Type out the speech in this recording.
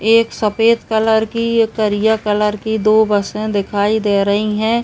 एक सफ़ेद कलर की एक करिया कलर की दो बसे दिखाई दे रही हैं।